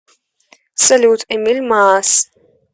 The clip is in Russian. салют эмил маас